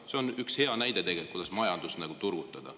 See on üks hea näide, kuidas majandust turgutada.